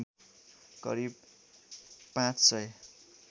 करिब ५ सय